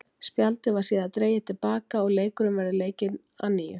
Spjaldið var síðar dregið til baka og leikurinn verður leikinn að nýju.